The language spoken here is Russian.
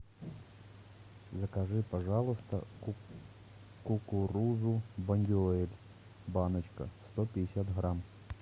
закажи пожалуйста кукурузу бондюэль баночка сто пятьдесят грамм